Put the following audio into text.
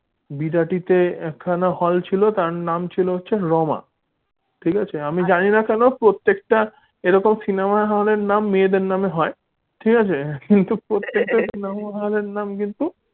বিরাটিতে একখানা hall ছিল তার নাম ছিল হচ্ছে রমা ঠিক আছে আমি জানিনা কেন প্রত্যেকটা এরকম cinema hall র নাম মেয়েদের নামে হয়। ঠিক আছে কিন্তু প্রত্যেক টা cinema hall নাম কিন্তু